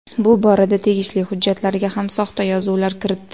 Bu borada tegishli hujjatlarga ham soxta yozuvlar kiritdi.